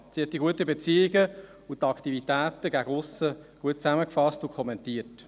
Sie hat die guten Beziehungen und die Aktivitäten gegen aussen gut zusammengefasst und kommentiert.